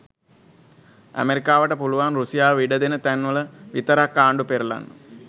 ඇමෙරිකාවට පුළුවන් රුසියාව ඉඩ දෙන තැන් වල විතරක් ආණ්ඩු පෙරලන්න.